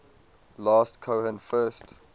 last cohen first